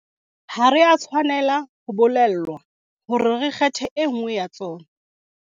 Ha re a tshwanela ho bolellwa hore re kgethe e nngwe ya tsona.